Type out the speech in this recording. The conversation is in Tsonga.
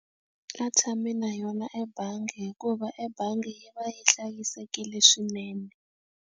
A tshami na yona ebangi hikuva ebangi yi va yi hlayisekile swinene.